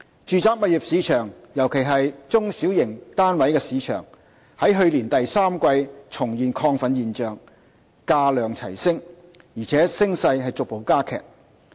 住宅物業市場，尤其是中小型單位市場，在去年第三季重現亢奮現象，價量齊升，而且升勢逐步加劇。